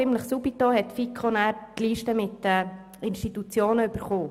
Die FiKo erhielt dann die Liste mit den Institutionen ziemlich rasch darauf.